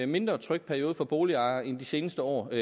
mindre tryg periode for boligejere end de seneste år i